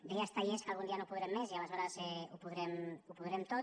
deia estellés que algun dia no podrem més i aleshores ho podrem tot